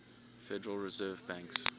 federal reserve banks